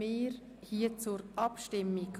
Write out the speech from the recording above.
Wir kommen zur Abstimmung.